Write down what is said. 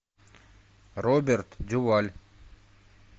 роберт дюваль